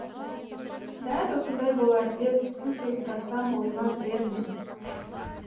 дәл осындай болар деп үш ұйқтасам ойыма кірер ме